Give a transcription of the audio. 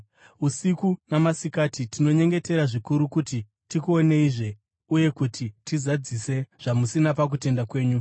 Usiku namasikati tinonyengetera zvikuru kuti tikuoneizve uye kuti tizadzise zvamusina pakutenda kwenyu.